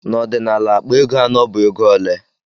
Na ọdinala akpa ego anọ bu ego ole?